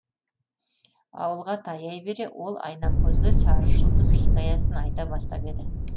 ауылға таяй бере ол айнамкөзге сары жұлдыз хикаясын айта бастап еді